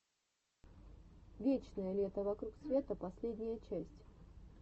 вечное лето вокруг света последняя часть